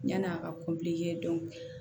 Yan'a ka